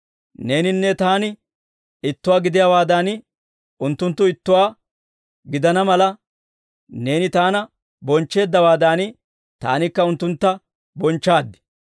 Neeninne Taani ittuwaa gidiyaawaadan, unttunttu ittuwaa gidana mala, neeni Taana bonchcheeddawaadan, Taanikka unttuntta bonchchaad.